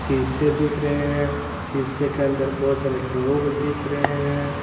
शीशे दिख रहे हैं शीशे के अंदर बहोत सारे लोग दिखे रहे हैं।